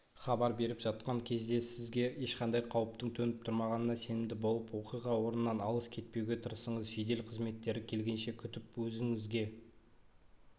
хабар беріп жатқан кезде сізге ешқандай қауіптің төніп тұрмағанына сенімді болып оқиға орнынан алыс кетпеуге тырысыңыз жедел қызметтері келгенше күтіп өзіңізге